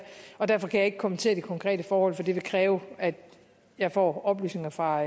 og derfor kan jeg ikke kommentere de konkrete forhold for det vil kræve at jeg får oplysninger fra